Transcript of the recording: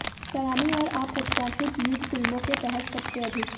सराहनीय और अप्रत्याशित युद्ध फिल्मों के तहत सबसे अधिक